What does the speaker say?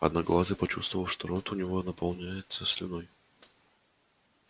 одноглазый почувствовал что рот у него наполняется слюной